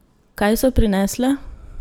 Kaj so prinesle?